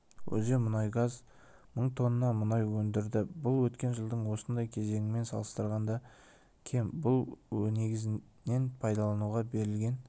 өзенмұнайгаз мың тонна мұнай өндірді бұл өткен жылдың осындай кезеңімен салыстырғанда кем бұл негізінен пайдалануға берілген